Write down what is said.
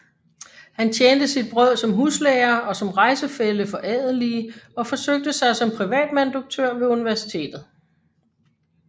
Han tjente sit brød som huslærer og som rejsefælle for adelige og forsøgte sig som privatmanuduktør ved universitetet